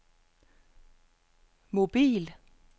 mobil